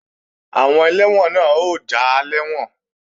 Àwọn ẹlẹ́wọ̀n náà ó já lẹ́wọ̀n